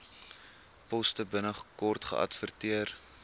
poste binnekort geadverteer